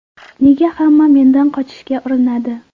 Nega hamma mendan qochishga urinadi?.